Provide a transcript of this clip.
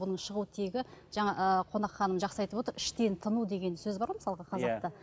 бұның шығу тегі жаңа ы қонақ ханым жақсы айтып отыр іштен тыну деген сөз бар ғой мысалға қазақта